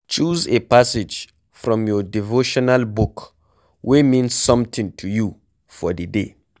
Choose a passage from your devotional book wey mean something to you for di day